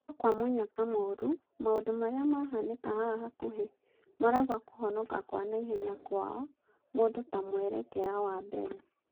Nũkwamũnyaka mũru maũndũ marĩa mahanĩka haha hakũhĩ maraiga kũhonakwanaihenyakwao mũndũ ta mwerekera wa mbere .